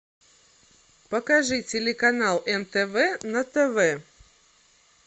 покажи телеканал нтв на тв